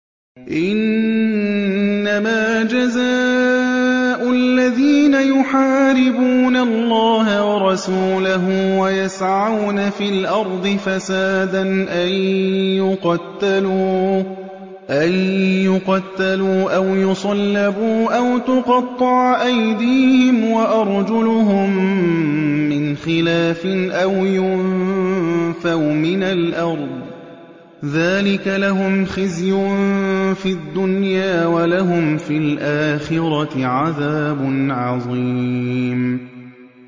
إِنَّمَا جَزَاءُ الَّذِينَ يُحَارِبُونَ اللَّهَ وَرَسُولَهُ وَيَسْعَوْنَ فِي الْأَرْضِ فَسَادًا أَن يُقَتَّلُوا أَوْ يُصَلَّبُوا أَوْ تُقَطَّعَ أَيْدِيهِمْ وَأَرْجُلُهُم مِّنْ خِلَافٍ أَوْ يُنفَوْا مِنَ الْأَرْضِ ۚ ذَٰلِكَ لَهُمْ خِزْيٌ فِي الدُّنْيَا ۖ وَلَهُمْ فِي الْآخِرَةِ عَذَابٌ عَظِيمٌ